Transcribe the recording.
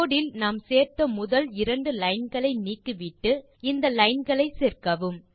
கோடு இல் நாம் சேர்த்த முதல் இரண்டு லைன் களை நீக்கிவிட்டு இந்த லைன் களை சேர்க்கவும்